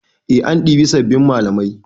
Eh an ɗibi sabbin malamai.